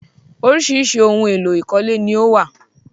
Oríṣiríṣi ohun-èlo ìkọ́lé ni ó wà.